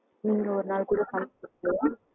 நீங்க ஒரு நாள் கூட